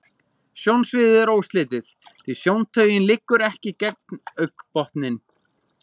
Sjónsviðið er óslitið, því sjóntaugin liggur ekki gegnum augnbotninn.